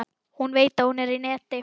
Hún veit að hún er í neti.